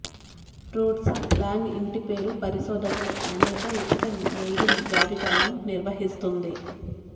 RootsWeb లాంగ్ ఇంటిపేరు పరిశోధకులు అనేక ఉచిత మెయిలింగ్ జాబితాలను నిర్వహిస్తుంది